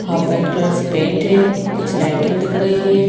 Half white colour से paint है कुछ लाइटिंग दिख रही है।